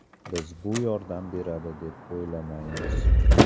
Biz bu yordam beradi, deb o‘ylamaymiz.